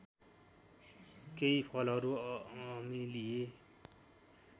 केही फलहरू अम्लीय